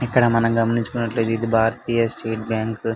ఇక్కడ మనము గమనిషుకునైతే ఇది భారతీయ స్టేట్ బ్యాంకు .